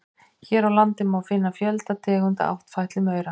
Hér á landi má finna fjölda tegunda áttfætlumaura.